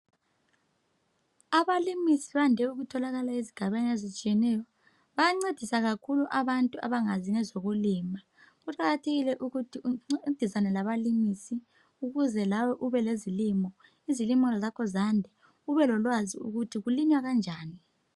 Abalimisi bande ukutholakala ezigabeni ezitshiyeneyo bayancedisa kakhulu abantu abangazi ngezokulima. Kuqakathekile ukuthi uncedisane labalimisi ukuze lawe ubelezilimo, izilimo zakho zakhe, ubelolwazi lokuthi kulinywa kanjani.